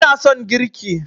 ina son girki